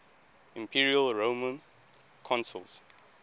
imperial roman consuls